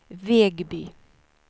Vegby